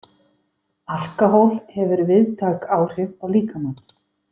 Alkóhól hefur víðtæk áhrif á líkamann.